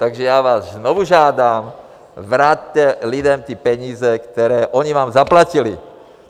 Takže já vás znovu žádám, vraťte lidem ty peníze, které oni vám zaplatili.